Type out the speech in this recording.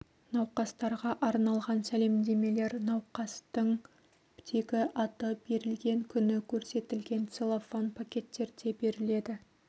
науқастарға арналған сәлемдемелер науқастың тегі аты берілген күні көрсетілген целлофан пакеттерде беріледі